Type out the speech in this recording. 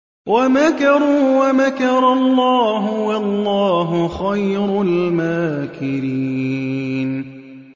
وَمَكَرُوا وَمَكَرَ اللَّهُ ۖ وَاللَّهُ خَيْرُ الْمَاكِرِينَ